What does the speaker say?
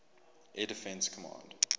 air defense command